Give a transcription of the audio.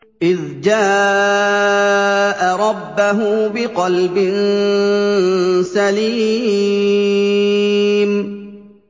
إِذْ جَاءَ رَبَّهُ بِقَلْبٍ سَلِيمٍ